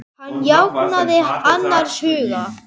Hann jánkaði annars hugar.